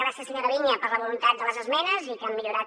gràcies senyora viña per la voluntat de les esmenes que han millorat